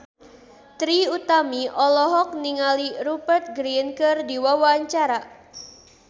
Trie Utami olohok ningali Rupert Grin keur diwawancara